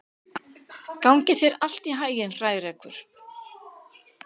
Gangi þér allt í haginn, Hrærekur.